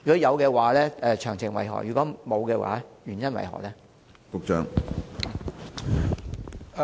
如會，詳情為何；如否，原因為何？